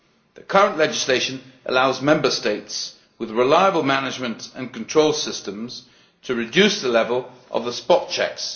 The current legislation allows Member States with reliable management and control systems to reduce the level of the spot checks.